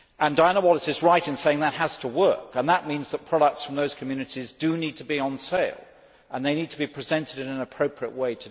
Diana Wallis is right in saying that has to work, and that means that products from those communities need to be on sale and need to be presented in an appropriate way.